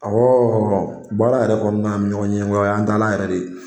Ɔwɔ baara yɛrɛ kɔnɔna ɲɔgɔn ɲɛngoya an taalan yɛrɛ de